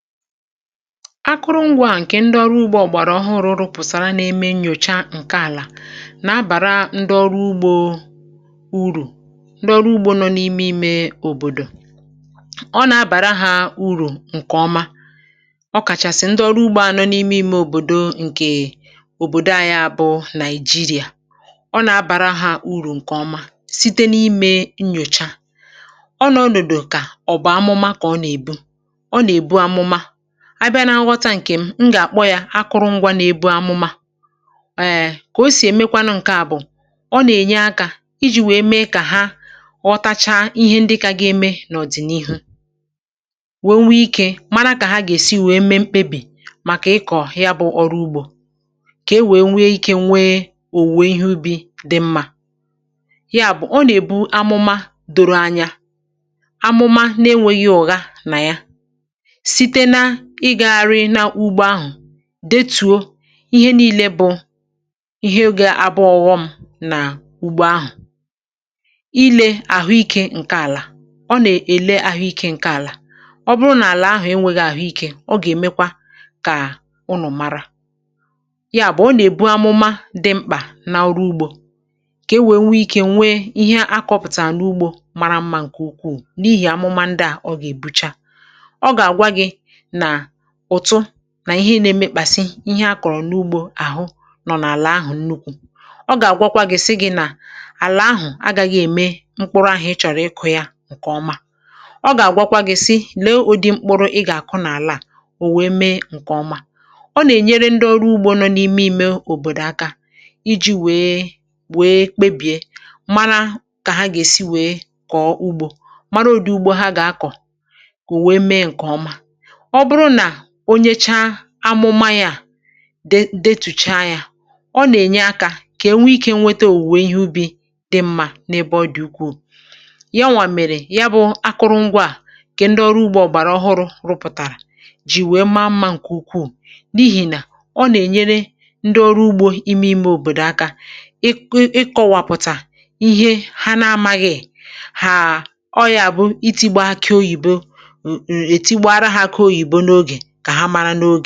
Akụrụngwȧ a, ǹkè ndị ọrụ ugbȯ ọ̀gbàrà ọhụrụ̇ pụ̀sara n’ime nnyòcha ǹkè àlà, nà-abàra ndị ọrụ ugbȯ urù. Ndị ọrụ ugbȯ nọ n’ime ime òbòdò, ọ nà-abàra hȧ urù ǹkèọma, ọ̀ kàchàsị̀ ndị ọrụ ugbȯ ȧ nọ n’ime ime òbòdo, ǹkè òbòdo anya bụ Nàịjirìà. Ọ nà-abàra hȧ urù ǹkèọma site n’ime nnyòcha, ọ nọ̀dụ̀dụ̀ kà ọ̀bụ̀ amụma kà ọ nà-èbu. A bịa n’aghọta ǹkè a, m gà-àkpọ ya akụrụngwȧ nà-ebu amụma. Èè, kà o sì èmekwanụ, ǹkè a bụ̀ ọ nà-ènye akȧ iji̇ wèe mee kà ha ọtacha ihe ndị ka ga-eme n’ọ̀dị̀nihu, wèe nwee ikė, màkà kà ha gà-èsi wèe mee mkpebì màkà ịkọ̀ ya bụ ọrụ ugbȯ, kà e wèe nwee ikė, nwee ò, wèe nwee ihe ubi̇ dị mmȧ. Ya bụ̀, ọ nà-èbu amụma dòrò anya, amụma na-enwėghi̇ ọ̀ga nà ya. Ị gȧrị n’ugbȯ ahụ̀, detuo ihe niile bụ ihe ga-abụ ọ̇gọ̇ m nà ugbo ahụ̀, ilė àhụikė ǹke àlà. Ọ nà-èle àhụikė ǹke àlà, ọ bụrụ nà àlà ahụ̀ enwėghi̇ àhụikė, ọ gà-èmekwa kà ụnọ̀ mara ya. um Bù ọ nà-èbu amụma dị mkpà n’ụrụ ugbȯ, kà e wèe nwee ike nwee ihe akọpụ̀tà n’ugbȯ mara mmȧ. Ǹkè ukwuù n’ihì àmụma ndị à, ọ gà-èbucha nà ihe ị nȧ-ėmė kpàsi ihe a kọ̀rọ̀ n’ugbȯ àhụ nọ̀ n’àlà ahụ̀ nnukwu̇. Ọ gà-àgwọkwa gị̇ si gị̇ nà àlà ahụ̀ agȧghị ème mkpụrụ ahụ̀ ị chọ̀rọ̀ ịkụ̇ ya ǹkè ọma. Ọ gà-àgwọkwa gị̇ si lee ụdị mkpụrụ ị gà-àkụ n’àlà à ò wèe mee ǹkè ọma. Ọ nà-ènyere ndị ọrụ ugbȯ nọ n’ime ime òbòdò aka iji̇ wèe kpebìe, mara kà ha gà-èsi wèe kọ̀ọ ugbȯ, mara ụ̀dị ugbȯ ha gà-akọ̀, ò wèe mee ǹkè ọma. um Onyechaa amụma yȧ detùcha yȧ, ọ nà-ènye akȧ kà ènwe ikė nwete òwùwè ihe ubi̇ dị mmȧ n’ebe ọ dị̀ ukwuù. Ya nwà mèrè, ya bụ̇ akụrụngwȧ à, kà ndị ọrụ ugbȯ ọ̀gbàrà ọhụrụ̇ rụpụ̀tàrà, jì nwèe maa mmȧ ǹkè ukwuù, n’ihì nà ọ nà-ènyere ndị ọrụ ugbȯ ime ime òbòdò aka ịkọ̇wàpụ̀tà ihe ha na-amȧghị̀. È haa, ọ yȧ bụ itigbȧ kà oyibo ǹkẹ̀ mẹlupu nà-egė ihe dị̇, ihe dị̇ ike, nȧȧgȧ mẹlupu nà-egė ike idȯ.